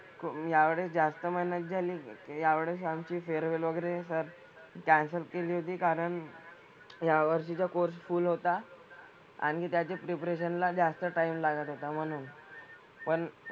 यावेळेस जास्त मेहनत झाली. यावेळेस आमची farewell वगैरे sir cancel केली होती कारण यावर्षीचा course full होता. आणि त्याच्या preparation ला जास्त time लागत होता म्हणून. पण,